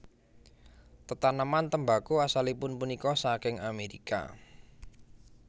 Tetaneman tembako asalipun punika saking Amerika